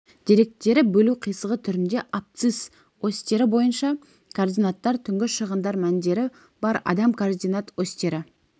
деректері бөлу қисығы түрінде абсцисс осьтері бойынша координаттар түнгі шығындар мәндері бар адам координат осьтері